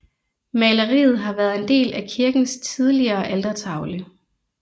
Maleriet har været en del af kirkens tidligere altertavle